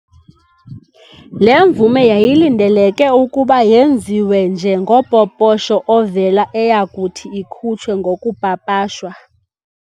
Le mvume yayilindeleke ukuba yenziwe nje ngopoposho ovela eyakuthi ikhutshwe ngokupapashwa.